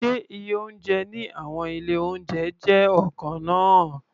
Ṣé iye oúnjẹ ní àwọn ilé-oúnjẹ jẹ́ ọ̀kan náà?